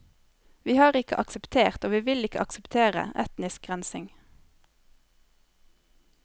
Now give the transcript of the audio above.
Vi har ikke akseptert, og vi vil ikke akseptere, etnisk rensing.